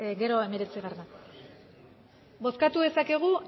gero hemeretzi bozkatu dezakegu